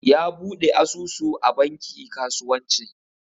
Ya bude asusu a banki kasuwanci.